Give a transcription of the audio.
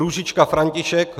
Růžička František